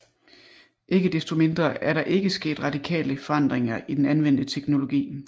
Ikke desto mindre er der ikke sket radikale forandringer i den anvendte teknologi